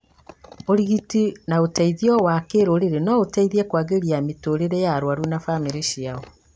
ũrigiti na ũteithio wa kĩrũrĩrĩ no iteithie kwagĩria mĩtũũrĩre ya arwaru na bamĩrĩ ciao